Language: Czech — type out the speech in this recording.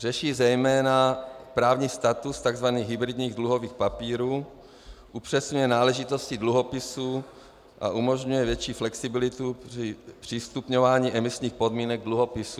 Řeší zejména právní status tzv. hybridních dluhových papírů, upřesňuje náležitosti dluhopisů a umožňuje větší flexibilitu při stupňování emisních podmínek dluhopisů.